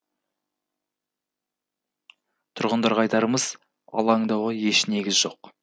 тұрғындарға айтарымыз алаңдауға еш негіз жоқ